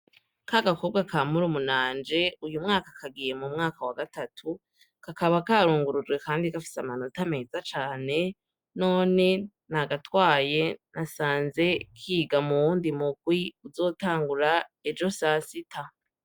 Ka gakobwa ka murumunanje uyu mwaka kagiye mu mwaka wa gatatu kakaba karungurujwe, kandi gafise amanota meza cane none n’agatwaye nasanze kiga mu wundi murwi uzotangura ejo sasita.